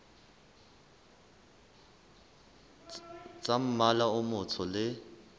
tsa mmala o motsho le